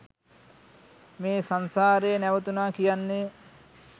මේ සංසාරය නැවතුනා කියන්නේ